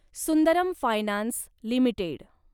Sundaram finance limited